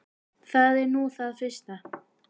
Það er nú það fyrsta.